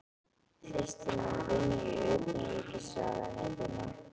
Systir mín vinnur í Utanríkisráðuneytinu.